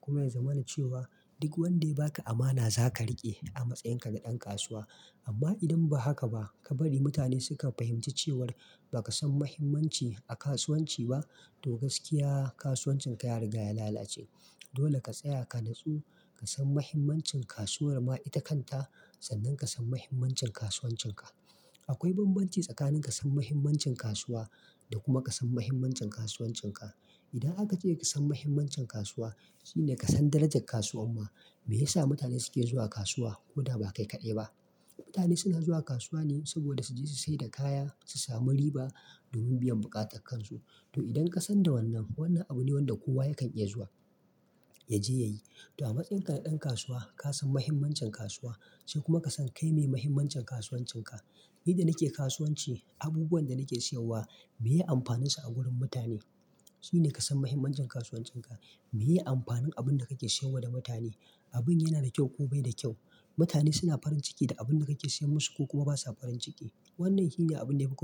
kuma ya zama na cewa duk wanda ya baka amana za ka riƙe a matsayin ka na ɗan kasuwa. Amma idan ba haka ba, ka bari mutane suka fahimci cewar baka san muhimmanci a kasuwanci ba to gaskiya kasuwancin ka ya riga ya lallace. Dole ka tsaya ka nutsu, ka san mahimmancin kasuwar ma ita kanta, sannan ka san mahimmancin kasuwancin ka. Akwai banbanci tsakanin ka san mahimmancin kasuwa da kuma ka san mahimmancin kasuwancin ka. Idan aka ce ka san mahimmancin kasuwa shine ka san darajar kasuwa ma, me yasa mutane suke zuwa kasuwa, ko da ba kai kaɗai ba. Mutane suna zuwa kasuwa ne saboda su je su sayar da kaya, su sami riba domin biyan bukatun kansu. To idan ka san da wannan, wannan abu ne wanda kowa yakan iya zuwa, ya je ya yi. To a matsayin ka na ɗan kasuwa ka san mahimmancin kasuwa sai kuma ka san kai me mahimmancin kasuwancin ka. Yadda nake kasuwanci abubuwah da nake siyarwa, me amfanin su a gurin mutane su ne ka san mahimmancin kasuwancin ka. Meye amfanin abin da kake siyarwa da mutane? Abin yana da kyau ko bai da kyau? Mutane suna farin ciki da abin da kake siyar musu ko kuma basa farin ciki? Wannan shi ne abin da ya fi ko.